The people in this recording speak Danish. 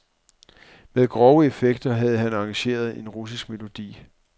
Med grove effekter havde han arrangeret en russisk melodi.